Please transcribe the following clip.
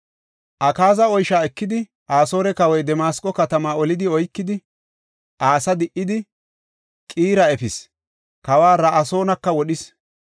Akaaza oysha ekidi, Asoore kawoy Damasqo katama oli oykidi, asaa di77idi, Qiira efis; kawa Ra7asoonaka wodhis.